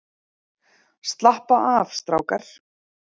Slappa af strákar!